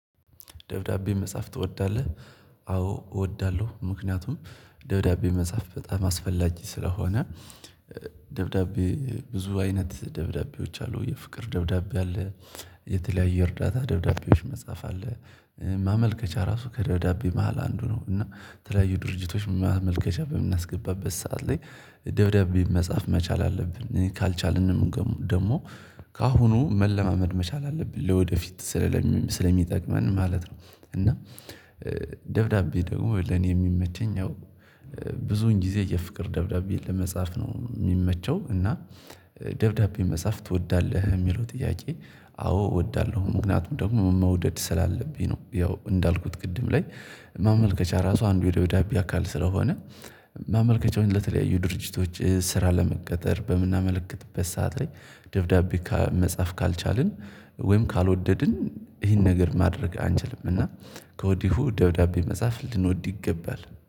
ደብዳቤ መጻፍ ትወዳለህ? አዎ እወዳለሁ ምክንያቱም ደብዳቤ መጻፍ በጣም አስፈላጊ ስለሆነ። ደብዳቤ ብዙ አይነት ደብዳቤዎች አሉ የፍቅር ደብዳቤ አለ። የተለያየ የእርዳታ ደብዳቤዎች መጻፍ አለ። ማመልከቻ ራሱ ከደብዳቤ መሃል አንዱ ነው። እና የተለያዩ ድርጅቶች ማመልከቻ በምናስገባበት ሰዓት ላይ። ደብዳቤ መጻፍ መቻል አለብን ካልቻልንም ደግሞ ከአሁኑ መለማመድ መቻል አለብን ለወደፊት። ስለሚጠቅመን ማለት ነው። እና ደብዳቤ ደግሞ ለኔ የሚመቸኝ ያው። ብዙውን ጊዜ የፍቅር ደብዳቤ ለመጻፍ ነው የሚመቸው። እና ደብዳቤ መጻፍ ትወዳለህ ለሚለው ጥያቄ? አዎ እወዳለሁ ምክንያቱም ደግሞ መውደድ ስላለብኝ ነው ያው እንዳልኩ ቅድም ላይ። ማመልከቻ ራሱ አንዱ የደብዳቤ አካል ስለሆነ። ማመልከቻውን ለተለያዩ ድርጅቶች ስራ ለመቀጠር በምናመለክትበት ሰዓት ላይ። ደብዳቤ መጻፍ ካልቻልን ወይም ካልወደድን ይሄን ነገር ማድረግ አንችልም እና። ከወዲሁ ደውዳቤ መጻፍ ልንወድ ይገባል